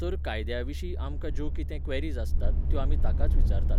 तर कायद्याविशीं आामकां ज्यो कितें क्वेरीज आसतात, त्यो आमी ताकाच विचारतात